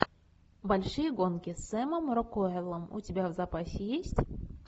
большие гонки с сэмом рокуэллом у тебя в запасе есть